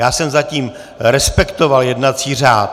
Já jsem zatím respektoval jednací řád!